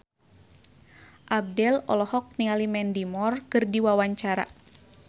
Abdel olohok ningali Mandy Moore keur diwawancara